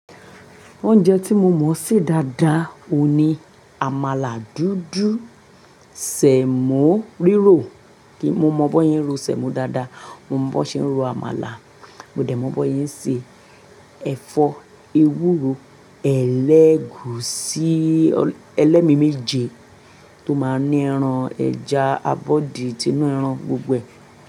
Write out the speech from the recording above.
Oúnjẹ tí mo mọ̀ se dáadáa oun ní, àmàlà dúdú, sẹ̀mó rírò. Kí mo mọ̀ bó e ń ro sẹ̀mó dáadáa, mo mọ̀ bó ṣe ń ro àmàlà, mo dẹ̀ mọ̀ bó yín ṣe ẹ̀fọ́ ewúro, ẹlẹ́gùúsí, ẹlẹ́mi méje tó máa ń ní ẹran, ẹja, abọ́dì tì inú ẹran gbogboe.